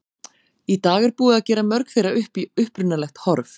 Í dag er búið að gera mörg þeirra upp í upprunalegt horf.